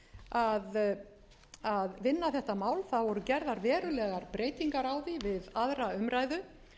að því að vinna þetta mál það voru gerðar verulegar breytingar á því við aðra umræðu